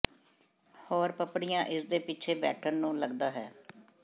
ਹੋਰ ਪਪੜੀਆਂ ਇਸ ਦੇ ਪਿੱਛੇ ਬੈਠਣ ਨੂੰ ਲੱਗਦਾ ਹੈ